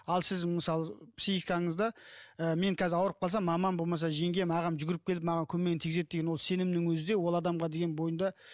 ал сіз мысалы психикаңызда ы мен қазір ауырып қалсам мамам болмаса жеңгем ағам жүгіріп келіп маған көмегін тигізеді деген ол сенімнің өзі де ол адамға деген бойында